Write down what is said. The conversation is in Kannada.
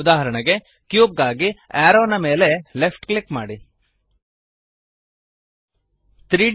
ಉದಾಹರಣೆಗೆ ಕ್ಯೂಬ್ ಗಾಗಿ ಅರೋವ್ ದ ಮೇಲೆ ಲೆಫ್ಟ್ ಕ್ಲಿಕ್ ಮಾಡಿರಿ